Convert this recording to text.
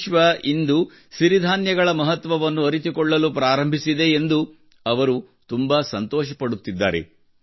ವಿಶ್ವ ಇಂದು ಸಿರಿಧಾನ್ಯಗಳ ಮಹತ್ವವನ್ನು ಅರಿತುಕೊಳ್ಳಲು ಪ್ರಾರಂಭಿಸಿದೆ ಎಂದು ಅವರು ತುಂಬಾ ಸಂತೋಷಪಡುತ್ತಿದ್ದಾರೆ